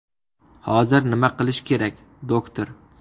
Hozir nima qilish kerak, doktor?